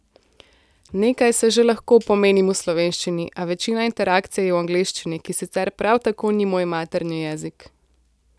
Nekaj se že lahko pomenim v slovenščini, a večina interakcije je v angleščini, ki sicer prav tako ni moj materni jezik.